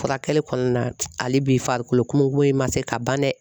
Furakɛli kɔnɔna na hali bi farikolo kome golo ma se ka ban dɛ.